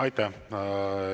Aitäh!